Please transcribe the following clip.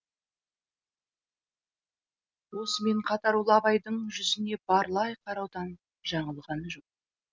осымен қатар ол абайдың жүзіне барлай қараудан жаңылған жоқ